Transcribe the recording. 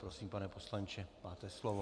Prosím, pane poslanče, máte slovo.